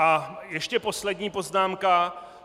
A ještě poslední poznámka.